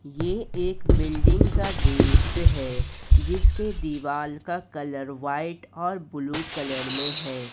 ये एक बिल्डिंग का दृश्य है जिसके दीवाल का कलर व्हाइट और ब्लू कलर में है।